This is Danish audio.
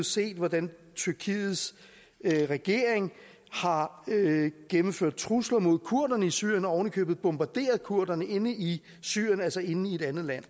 set hvordan tyrkiets regering har gennemført trusler mod kurderne i syrien og ovenikøbet bombarderet kurderne inde i syrien altså inde i et andet land